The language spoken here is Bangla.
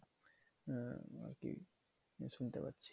হ্যাঁ আরকি শুনতে পাচ্ছি।